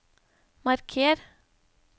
marker